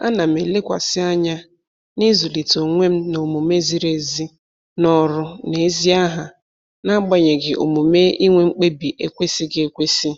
Ana m elekwasị anya na-ịzụlite onwe m n'omume ziri ezi n'ọrụ na ezi aha n'agbanyeghị omume inwe mkpebi ekwesịghị ekwesị